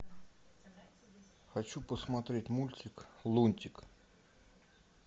хочу посмотреть мультик лунтик